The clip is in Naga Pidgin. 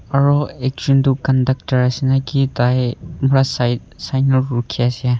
aro ekjun toh conductor ase naki tai para side sai kena rukhi ase.